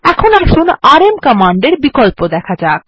এখন আসুন আরএম কমান্ডের বিকল্প দেখা যাক